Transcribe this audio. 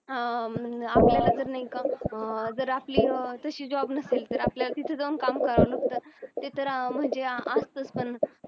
हा नाही का जर आपली तशी job नसेल तर आपल्याला तिथे जाऊन काम करायला लुगतात तिथे म्हणजे असंच पण